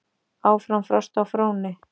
Áfram frost á fróni